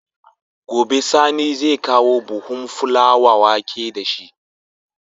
Gobe sani zai kawo buhun fulawa wake dashi